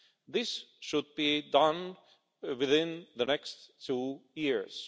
This should be done within the next two years.